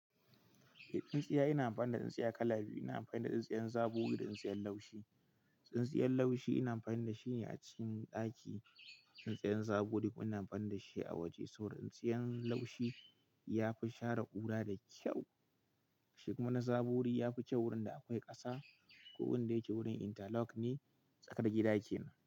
Eh tsintsiya ina amfani da tsintsiya kala biyu. Ina amfani da tsintsiyar zaboru da tsintsiyar laushi. Tsintsiyar laushi ina amfani da shi ne a cikin ɗaki. Tsintsiyar zabori kuma ina amfani da shi a waje. Saboda tsintsiya laushi ya fi share ƙura da kyau, shi kuma na zabori ya fi kyau wurin da akwai ƙasa. Ko wurin da yake wurin interlock ne tsakar gida yake.